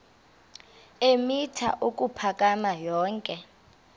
eemitha ukuphakama yonke